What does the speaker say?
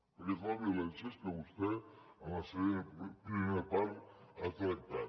perquè és la violència que vostè en la seva primera part ha tractat